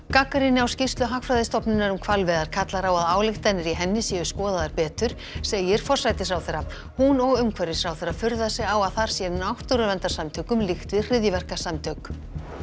gagnrýni á skýrslu Hagfræðistofnunar um hvalveiðar kallar á að ályktanir í henni séu skoðaðar betur segir forsætisráðherra hún og umhverfisráðherra furða sig á að þar sé náttúruverndarsamtökum líkt við hryðjuverkasamtök